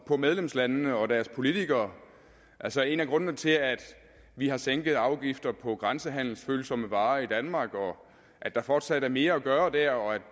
på medlemslandene og på deres politikere altså en af grundene til at vi har sænket afgifterne på grænsehandelsfølsomme varer i danmark og at der fortsat er mere at gøre dér og at